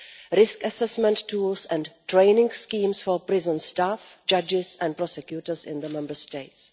risk assessment tools and training schemes for prison staff, judges and prosecutors in the Member States.